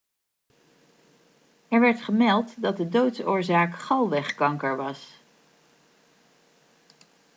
er werd gemeld dat de doodsoorzaak galwegkanker was